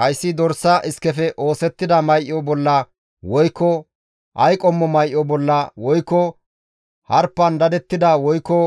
Hayssi dorsa iskefe oosettida may7o bolla woykko ay qommo may7o bolla woykko harpan dadettida woykko